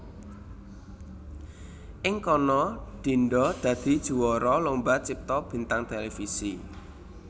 Ing kana Dinda dadi juwara Lomba Cipta Bintang Televisi